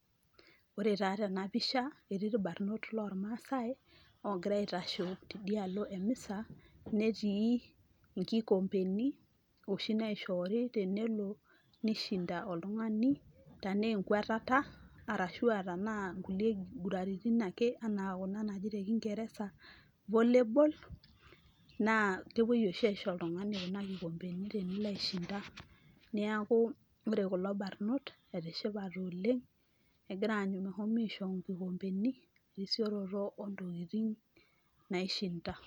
Ore taa tena pisha etii irbarnot loormaasai ogira aitasho tidia alo emisa, netii nkikombeni oshi naishoori tenelo nishinda oltung'ani tenaa enkwatata arashu a tenaa nkulie kiguratin ake enaa kuna naji te kingereza, volley ball naa kepuoi oshi aisho oltung'ani kuna kikombeni tenilo aishinda. Neeku ore kula barnot etishipate oleng' egira aanyu meshomo aisho nkikombeni te risioroto o ntokitin naishinda.